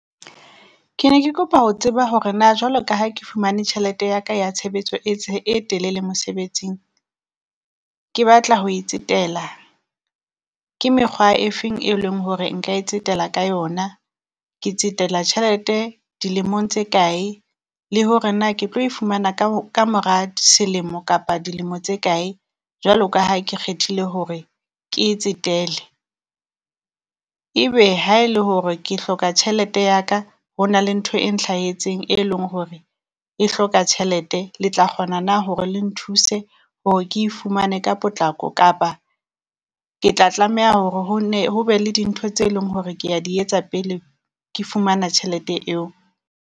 Ke ne ke kopa ho tseba hore na jwalo ka ha ke fumane tjhelete ya ka ya tshebetso e e telele mosebetsing ke batla ho e tsetela, ke mekgwa e feng e leng hore nka e tsetela ka yona? Ke tsetela tjhelete dilemong tse kae? Le hore na ke tlo e fumana kamora selemo kapa dilemo tse kae? Jwalo ka ha ke kgethile hore ke e tsetele, ebe ha e le hore ke hloka tjhelete ya ka, ho na le ntho e nhlahetseng e leng hore e hloka tjhelete Le tla kgona na hore le nthuse hore ke e fumane ka potlako? Kapa ke tla tlameha hore ho nne ho be le dintho tse leng hore kea di etsa pele ke fumana tjhelete eo?